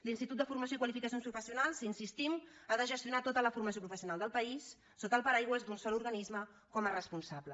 l’institut de formació i qualificacions professionals hi insistim ha de gestionar tota la formació professional del país sota el paraigües d’un sol organisme com a responsable